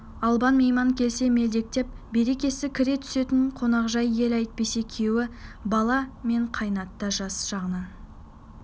албан мейман келсе мелдектеп берекесі кіре түсетін қонақжай ел әйтпесе күйеу бала мен қайыната жас жағынан